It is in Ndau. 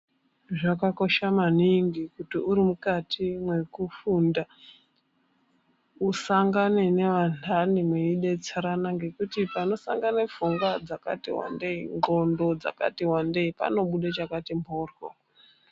Zvakakosha maningi kuti uri mukati mwekufunda usangane neantani mweidetserana ngekuti panosangana pfungwa dzakati wandei ndxondo dzakati wandei panobuda chakati mboryo.